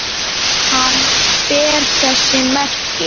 Hann ber þess merki